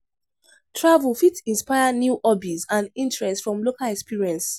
Travel fit inspire new hobbies and interests from local experience.